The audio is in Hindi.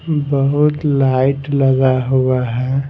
बहुत लाइट लगा हुआ है ।